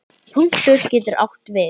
Punktur getur átt við